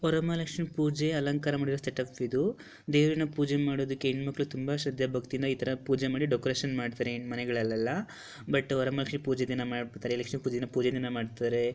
ವರಮಹಾಲಕ್ಷ್ಮಿ ಪೂಜೆ ಅಲಂಕಾರ ಮಾಡಿರ ಸೆಟಪ್ ಇದು ದೇವ್ರನ್ನ ಪೂಜೆ ಮಾಡದಕ್ಕೆ ಹೆಣ್ಮಕ್ಳು ತುಂಬಾ ಶ್ರದ್ಧೆ ಭಕ್ತಿಯಿಂದ ಈ ತರ ಪೂಜೆ ಮಾಡಿ ಡೆಕೋರೇಷನ್ ಮಾಡ್ತಾರೆ ಮನೆಗಳಲೆಲ್ಲಾ ಬಟ್ ವರಮಹಾಲಕ್ಷ್ಮಿ ಪೂಜೆ ದಿನ ಮಾಡ್ಬುಡ್ತಾರೆ ಲಕ್ಷ್ಮೀ ಪೂಜೆನ ಪೂಜೆ ದಿನ ಮಾಡ್ತಾರೆ.